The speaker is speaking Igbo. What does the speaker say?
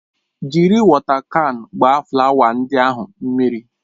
Jiri wọta kan gbaa flawa ndị ahụ mmiri!